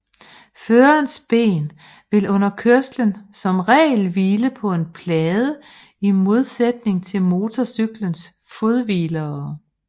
Førerens ben vil under kørslen som regel hvile på en plade i modsætning til motorcyklens fodhvilere